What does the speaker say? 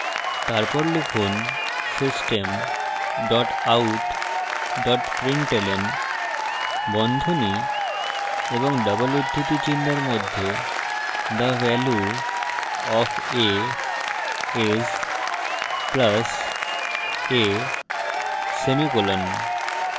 তারপর লিখুন system dot out dot println বন্ধনী of double উদ্ধৃতি চিনহের মধ্যে the value of a is + a semicolon